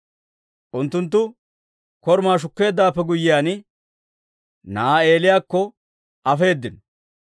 Unttunttu korumaa shukkeeddawaappe guyyiyaan, na'aa Eeliyakko afeedino.